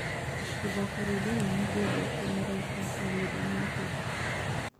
Gũthaka rwĩmbo rwa nĩngwendete mũraĩka rwa miriam makeba